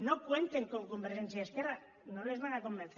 no cuenten con convergència y esquerra no les van a convencer